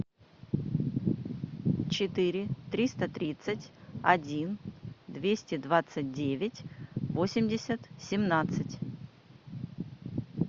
четыре триста тридцать один двести двадцать девять восемьдесят семнадцать